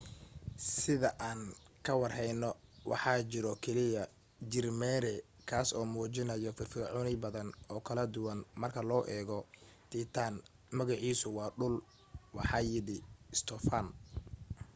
sida aan ka war heyno waxaa jiro keliya jir mere kaas oo muujinayo firfircooni badan oo kala duwan marka loo eego titan magaciisuna waa dhul waxa yidhi stophan